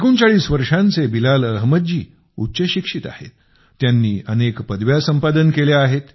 39 वर्षांचे बिलाल अहमद जी उच्चशिक्षित आहेत त्यांनी अनेक पदव्या संपादन केल्या आहेत